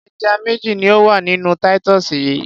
Ẹja méjì ní ó wà nínú Titus yìí.